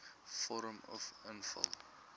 vorm uf invul